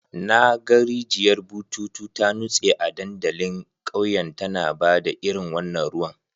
Na ga rijiyar bututu ta nutse a dandalin ƙauyen tana ba da irin wannan ruwan.